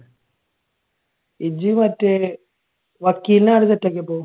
ഇജ്ജ് മറ്റേ വക്കീലിനെ എങ്ങനെ set ആക്കിയേ അപ്പൊ?